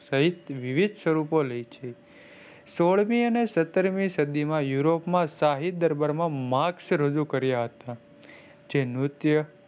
સહિત વિવિદ સ્વરૂપ લે છે સોલ મી અને સત્તર મી સદીમાં યુરોપ માં સહી દરબાર માં marks રજૂ કર્યા હતા. જે ન્રીત્ય સહિત વિવિદ સ્વરૂપ લે છે.